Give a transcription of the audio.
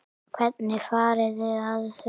Hvernig farið þið að því?